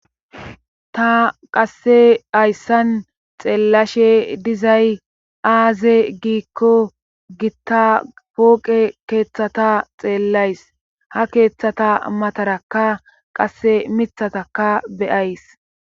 Ta qasse hayssan xeellashe dizay aaze giikko gitta pooqe keeththata xeellays ha keeththata mataraka qasse mithataka beyays